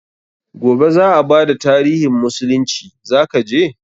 Gobe za a bada tarihin musulunci, za ka je?